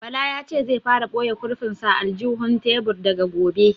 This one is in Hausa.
Bala ya ce zai fara ɓoye kurfin sa a aljihun tebur daga gobe